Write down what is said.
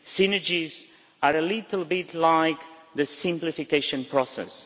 Synergies are a little bit like the simplification process.